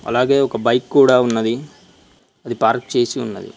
అలాగే ఒక బైక్ కూడా ఉన్నది అది పార్క్ చేసి ఉన్నది.